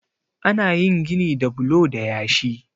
ana yin gini da bulo da yashi